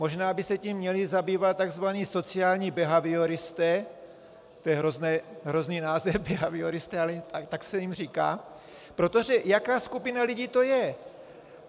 Možná by se tím měli zabývat tzv. sociální behavioristé, to je hrozný název, behavioristé, ale tak se jim říká, protože jaká skupina lidí to je?